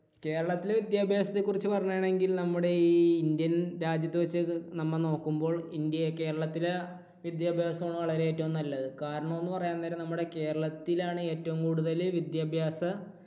കേരളത്തിലെ വിദ്യാഭ്യാസത്തെ കുറിച്ച് പറയുകയാണെങ്കിൽ നമ്മുടെ ഈ ഇന്ത്യൻ രാജ്യത്ത് വെച്ച് നമ്മ നോക്കുമ്പോൾ ഇന്ത്യ, കേരളത്തിലെ വിദ്യാഭ്യാസം ആണ് വളരെ ഏറ്റവും നല്ലത്. കാരണം എന്ന് പറയാണ് നേരം നമ്മുടെ കേരളത്തിലാണ് ഏറ്റവും കൂടുതൽ വിദ്യാഭ്യാസ